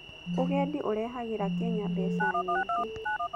ũgendi ũrehahĩra Kenya mbeca nyingĩ.